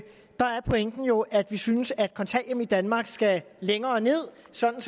der er pointen jo at vi synes at kontanthjælpen i danmark skal længere ned sådan